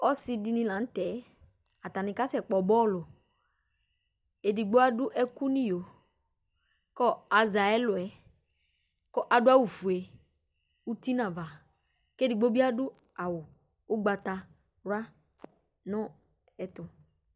Ɔsi dìní la ntɛ Atani kasɛkpɔ bɔlʋ Ɛdigbo adu ɛku nʋ iyo kʋ azɛ ayʋ ɛlu yɛ kʋ adu awu fʋe ʋti nʋ ava kʋ ɛdigbo bi awu ugbatawla nʋ ɛtʋ